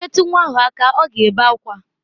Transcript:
I metụ nwa ahụ aka, ọ ga-ebe akwa.